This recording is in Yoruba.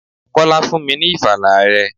Kọ́lá fún mi ní ìfala rẹ̀.